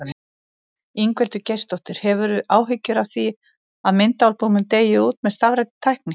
Ingveldur Geirsdóttir: Hefurðu áhyggjur af því að myndaalbúmin deyi út með stafrænni tækni?